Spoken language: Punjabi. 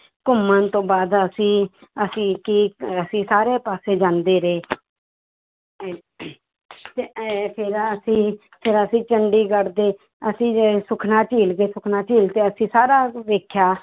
ਘੁੰਮਣ ਤੋਂ ਬਾਅਦ ਅਸੀਂ ਅਸੀਂ ਕੀ ਅਸੀਂ ਸਾਰੇ ਪਾਸੇ ਜਾਂਦੇ ਰਹੇ ਤੇ ਇਉਂ ਫਿਰ ਅਸੀਂ, ਫਿਰ ਅਸੀਂ ਚੰਡੀਗੜ੍ਹ ਦੇ ਅਸੀਂ ਗਏ ਸੁਖਣਾ ਝੀਲ ਗਏ, ਸੁਖਣਾ ਝੀਲ ਤੇ ਅਸੀਂ ਸਾਰਾ ਵੇਖਿਆ